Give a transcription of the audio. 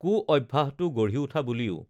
কু অভ্যাসটো গঢ়ি উঠা বুলিও